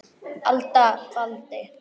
alda faldi